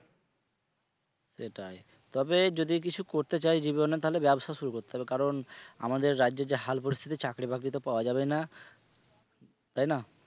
সেটাই তবে যদি কিছু করতে চায় জীবনে তাহলে ব্যবসা শুরু করতে হবে কারণ আমাদের রাজ্যে যে হাল পরিস্থিতি চাকরি-বাকৃ তো পাওয়া যাবে না তাই না?